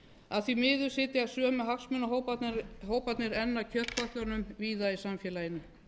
að því miður sitja sömu hagsmunahóparnir enn að kjötkötlunum víða í samfélaginu